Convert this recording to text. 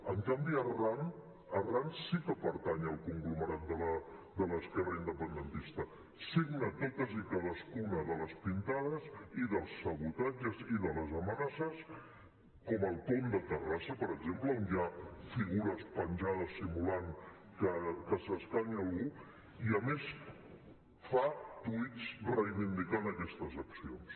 en canvi arran arran sí que pertany al conglomerat de l’esquerra independentista signa totes i cadascuna de les pintades i dels sabotatges i de les amenaces com al pont de terrassa per exemple on hi ha figures penjades simulant que s’escanya algú i a més fa tuits reivindicant aquestes accions